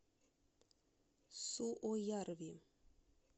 суоярви